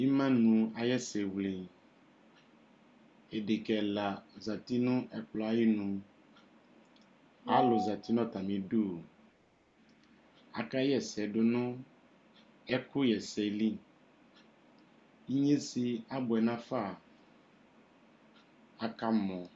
Imanu ayiʋ ɛsɛwleadeka ɛla zati nʋ ɛkplɔ ayiʋ inualu zati nʋ atami'duakaɣa ɛsɛ dʋ nʋ ɛkʋɣa ɛsɛ liinye sɛ abɔɛ nafaakamɔ